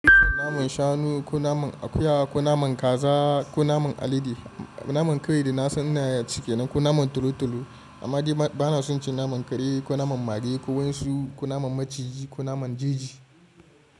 Naman shanu ko naman akuya ko naman kaza ko naman alade, naman kawai da nasa ina ci kenan, ko naman talo talo amma ba na son cin naman kare ko naman mage ko wansu ko naman maciji ko naman jeji.